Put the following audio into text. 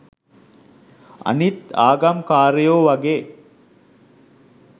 අනිත් ආගම් කාරයෝ වගේ